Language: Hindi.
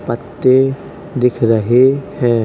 पत्ते दिख रहे है ।